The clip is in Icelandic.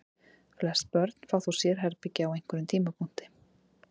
Flest börn fá þó sérherbergi á einhverjum tímapunkti.